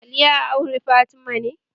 Ali ya aure Fatima ne?